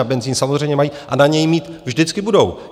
Na benzin samozřejmě mají a na něj mít vždycky budou.